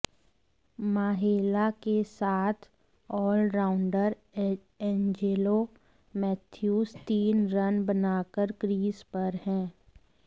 माहेला के साथ आलराउंडर एंजेलो मैथ्यूज तीन रन बनाकर क्रीज पर हैं